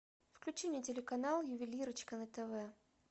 включи мне телеканал ювелирочка на тв